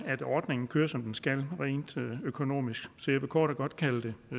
at ordningen kører som den skal rent økonomisk så jeg vil kort og godt kalde det